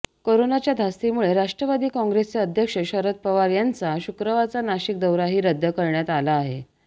कोरोनाच्या धास्तीमुळे राष्ट्रवादी काँग्रेसचे अध्यक्ष शरद पवार यांचा शुक्रवारचा नाशिक दौराही रद्द करण्यात आला आहे